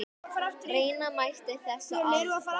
Reyna mætti þessa aðferð.